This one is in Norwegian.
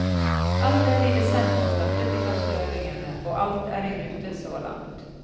Allerede i desember startet de første øvingene, og alt er i rute så langt.